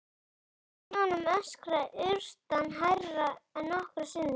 Úti á sjónum öskraði urtan hærra en nokkru sinni.